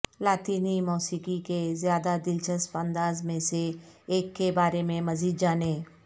لاطینی موسیقی کے زیادہ دلچسپ انداز میں سے ایک کے بارے میں مزید جانیں